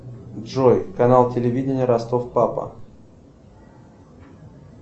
джой канал телевидения ростов папа